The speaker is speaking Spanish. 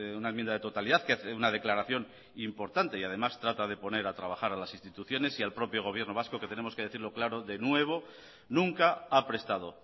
una enmienda de totalidad que hace una declaración importante y además trata de poner a trabajar a las instituciones y al propio gobierno vasco que tenemos que decirlo claro de nuevo nunca ha prestado